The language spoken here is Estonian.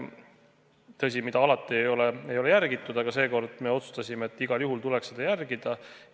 Tõsi, alati ei ole seda järgitud, aga seekord me otsustasime, et igal juhul tuleks seda järgida.